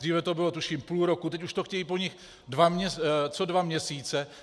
Dříve to bylo tuším půl roku, teď už to chtějí po nich co dva měsíce.